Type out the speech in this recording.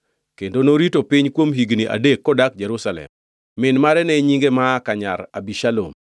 kendo norito piny kuom higni adek kodak Jerusalem. Min mare ne nyinge Maaka nyar Abishalom.